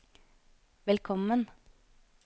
velkommen